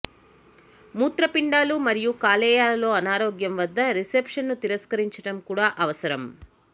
మూత్రపిండాలు మరియు కాలేయాలలో అనారోగ్యం వద్ద రిసెప్షన్ను తిరస్కరించడం కూడా అవసరం